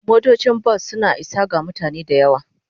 Motocin bas suna isa ga mutane da yawa.